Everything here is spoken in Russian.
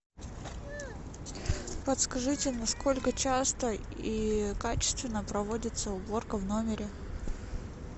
подскажите насколько часто и качественно проводится уборка в номере